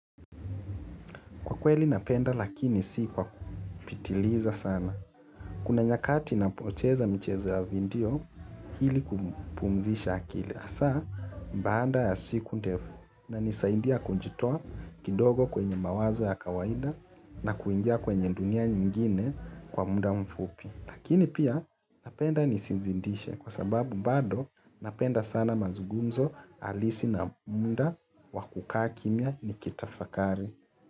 Kwa kweli napenda lakini si kwa kupitiliza sana. Kuna nyakati napocheza michezo ya vindio ili kupumzisha akili. Hasa baada ya siku ndefu. Inanisaidia kujitoa kidogo kwenye mawazo ya kawaida na kuingia kwenye dunia nyingine kwa muda mfupi. Lakini pia napenda nisizindishe kwa sababu bado napenda sana mazugumzo halisi na muda wa kukaa kimya nikitafakari.